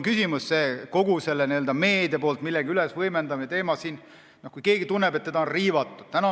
Küsimus on meedias millegi ülevõimendamises, nii et keegi tunneb, et teda on riivatud.